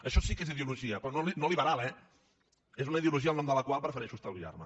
això sí que és ideologia però no liberal eh és una ideologia el nom de la qual prefereixo estalviar me